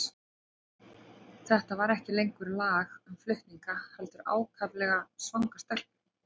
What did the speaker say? Þetta var ekki lengur lag um flutninga, heldur ákaflega svanga stelpu.